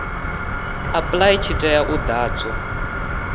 apply tshi tea u ḓadzwa